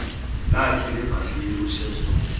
lakhe levangeli ushepstone